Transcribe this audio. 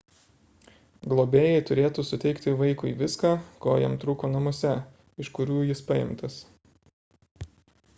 globėjai turėtų suteikti vaikui viską ko jam trūko namuose iš kurių jis paimtas